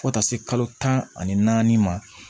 Fo taa se kalo tan ani naani ma